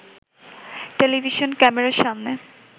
television ক্যামেরার সামনে